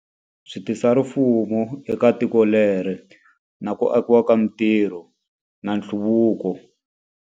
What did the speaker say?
Swi tisa rifumo eka tiko leri, na ku akiwa ka mintirho, na nhluvuko.